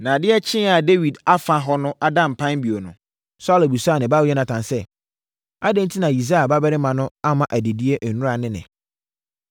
Na adeɛ kyeeɛ a Dawid afa hɔ ada mpan bio no, Saulo bisaa ne ba Yonatan sɛ, “Adɛn enti na Yisai babarima no amma adidie nnora ne ɛnnɛ?”